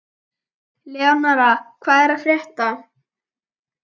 Eleonora, hvað er að frétta?